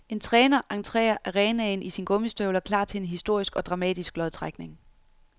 En træner entrer arenaen i sine gummistøvler klar til en historisk og dramatisk lodtrækning.